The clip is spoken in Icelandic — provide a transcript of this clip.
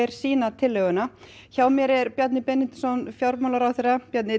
sína tillögu hjá mér er Bjarni Benediktsson fjármálaráðherra Bjarni